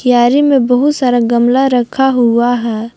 क्यारी में बहुत सारा गमला रखा हुआ है।